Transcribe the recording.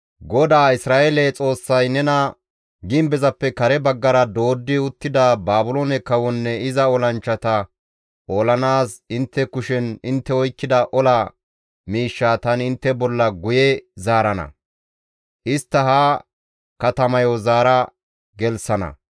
‹GODAA Isra7eele Xoossay nena gimbezappe kare baggara dooddi uttida Baabiloone kawonne iza olanchchata olanaas intte kushen intte oykkida ola miishshaa tani intte bolla guye zaarana. Istta ha katamayo zaara gelththana.